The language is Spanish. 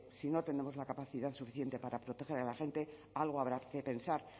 si no tenemos la capacidad suficiente para proteger a la gente algo habrá que pensar